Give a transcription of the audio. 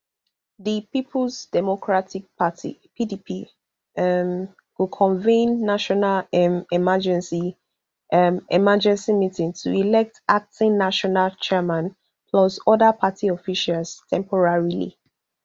di peoples democratic party pdp um go convene national um emergency um emergency meeting to elect acting national chairman plus oda party officials temporarily